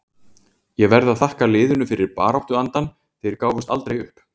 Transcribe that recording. Ég verð að þakka liðinu fyrir baráttuandann, þeir gáfust aldrei upp.